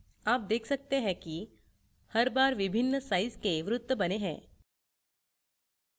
आप देख सकते हैं की हर बार विभिन्न size के वृत्त बने हैं